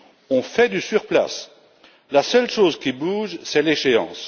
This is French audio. On fait du surplace, la seule chose qui bouge, c'est l'échéance.